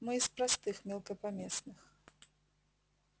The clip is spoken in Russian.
мы из простых мелкопоместных